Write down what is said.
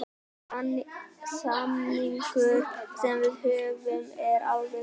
Samningurinn sem við höfum er alveg pottþéttur.